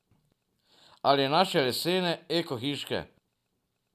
Ali naše lesene, eko hiške.